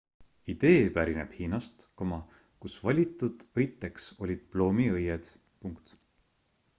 idee pärineb hiinast kus valitud õiteks olid ploomiõied